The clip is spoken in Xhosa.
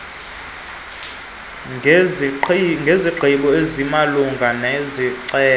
ngesigqibo esimalunga nesicelo